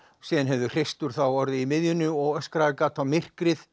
síðan hefði hreistur þá orðið í miðjunni og gat á myrkrið